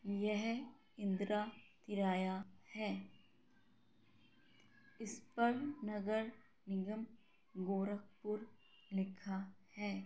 यह इंदिरा तिराया है इस पर नगर निगम गोरखपुर लिखा है।